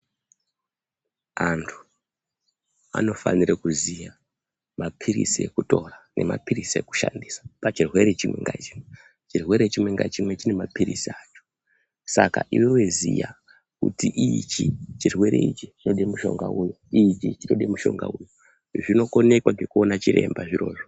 Antu anofanire kuziya maphiritsi ekutora nemaphiritsi ekushandisa pachirwere chimwe ngachimwe. Chirwere chimwe ngachimwe maphiritsi acho, saka iwewe ziya, kuti ichi chirwere ichi chinode mushonga uyu, ichi chinode mutombo uyu, zvinokonekwa ngekuona chiremba zvirozvo.